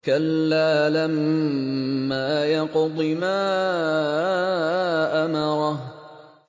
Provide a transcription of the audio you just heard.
كَلَّا لَمَّا يَقْضِ مَا أَمَرَهُ